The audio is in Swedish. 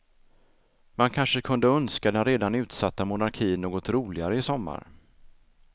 Man kanske kunde önska den redan utsatta monarkin något roligare i sommar.